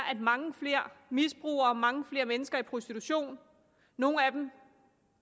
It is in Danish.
at mange flere misbrugere mange flere mennesker i prostitution nogle af dem